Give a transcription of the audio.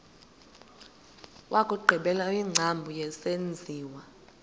wokugqibela wengcambu yesenziwa